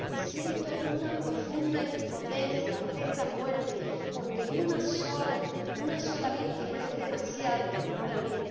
Siento una profunda impotencia ante estas muertes porque una sola, una sola víctima es demasiado para mí.